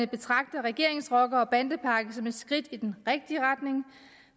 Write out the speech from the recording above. betragter regeringens rocker og bandepakke som et skridt i den rigtige retning